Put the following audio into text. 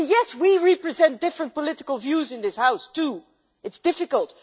Yes, we represent different political views in this House too, it is difficult.